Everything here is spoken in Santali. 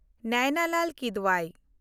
ᱱᱮᱭᱱᱟ ᱞᱟᱞ ᱠᱤᱫᱣᱟᱭ